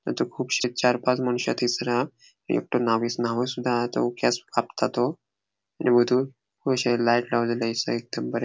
अंतु कुबशी चार पांच मुनशा दिसना न्हाविसूदा हा केस कापता तो ---